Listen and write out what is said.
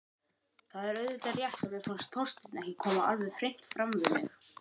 Það er auðvitað rétt að mér fannst Þorsteinn ekki koma alveg hreint fram við mig.